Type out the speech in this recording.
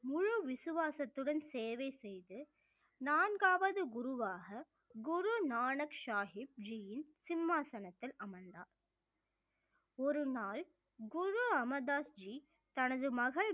முழு விசுவாசத்துடன் சேவை செய்து நான்காவது குருவாக குரு நானக் சாகிப் ஜீயின் சிம்மாசனத்தில் அமர்ந்தார் ஒரு நாள் குரு அமர்தாஸ் ஜீ தனது மகள்